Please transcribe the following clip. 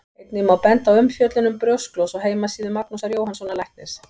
Einnig má benda á umfjöllun um brjósklos á heimasíðu Magnúsar Jóhannssonar læknis.